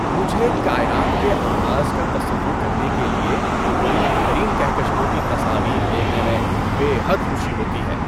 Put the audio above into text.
‏مجھے کائنات کے آغاز کا تصور کرنے کے لیے بعید ترین کہکشاؤں کی تصاویر دیکھنے میں بے حد خوشی ہوتی ہے۔